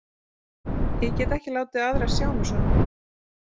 Ég get ekki látið aðra sjá mig svona.